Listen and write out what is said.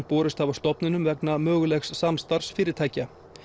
borist hafa stofnunum vegna mögulegs samstarfs fyrirtækja